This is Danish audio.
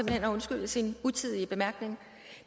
hen at undskylde sin utidige bemærkning